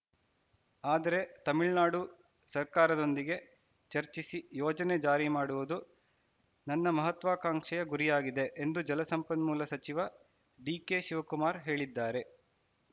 ಆದರೆ ತಮಿಳುನಾಡು ಸರ್ಕಾರದೊಂದಿಗೆ ಚರ್ಚಿಸಿ ಯೋಜನೆ ಜಾರಿ ಮಾಡುವುದು ನನ್ನ ಮಹತ್ವಾಕಾಂಕ್ಷೆಯ ಗುರಿಯಾಗಿದೆ ಎಂದು ಜಲ ಸಂಪನ್ಮೂಲ ಸಚಿವ ಡಿಕೆಶಿವಕುಮಾರ್‌ ಹೇಳಿದ್ದಾರೆ